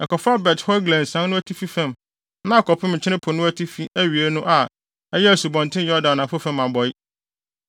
ɛkɔfa Bet-Hogla nsian no atifi fam na akɔpem Nkyene Po no atifi awiei ano a ɛyɛ Asubɔnten Yordan anafo fam abɔe.